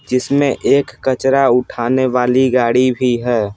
जिसमें एक कचरा उठाने वाली गाड़ी भी है।